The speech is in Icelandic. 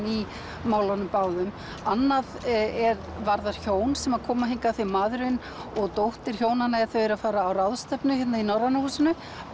í málunum báðum annað varðar hjón sem koma hingað af því maðurinn og dóttir hjónanna eru að fara á ráðstefnu hérna í Norræna húsinu